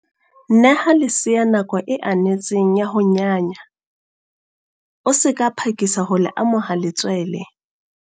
Neha lesea nako e anetseng ya ho nyanya, o se ka phakisa ho le amoha letswele.